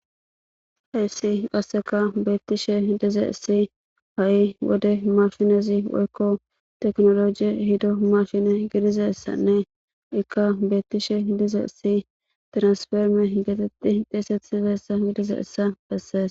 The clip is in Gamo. Hayissi qaseka beettishshe dizayissi ha"i wode makinazi woyko tekinoloje ehida makina gidizaysanne Ika betishshe dizayissanne transformer geteti xeysetizaysa gidizaysa besses.